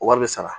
Wari bɛ sara